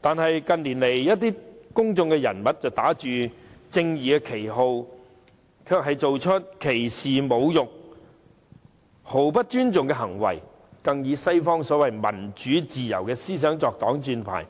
但是，近年來一些公眾人物打着正義的旗號，卻做出一些歧視、侮辱和毫不尊重他人的行為，更以西方的所謂民主自由思想作擋箭牌，